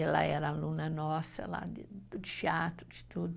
Ela era aluna nossa lá de teatro, de tudo.